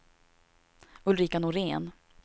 Ulrika Norén